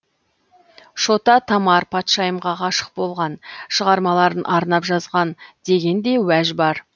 шота тамар патшайымға ғашық болған шығармаларын арнап жазған деген де уәж бар